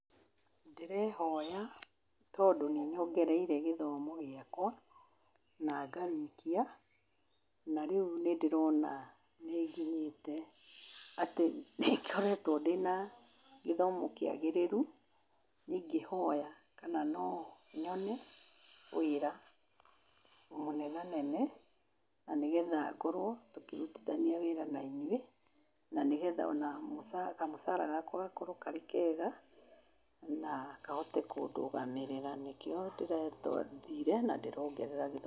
Ndĩrehoya tondũ nĩ nyongereire gĩthomo giakwa, na ngarĩkia, na rĩu nĩ ndĩrona nĩ nginyĩte atĩ nĩ ngoretwo ndĩna gĩthomo kĩagĩrĩru, ingĩhoya kana no nyone wĩra mũnenanene, na nĩgetha ngorwo tũkĩrutithania wĩra na inyuĩ, na nĩgetha ona mũcara, kamũcara gakwa gakorwo karĩkega, na kahote kũndũgamĩrĩra, nĩkĩo ndĩrathire na ndĩrongerera gĩthomo.